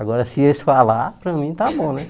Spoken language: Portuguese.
Agora, se eles falarem para mim, está bom, né?